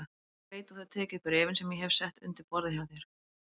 Ég veit að þú hefur tekið bréfin sem ég hef sett undir borðið hjá þér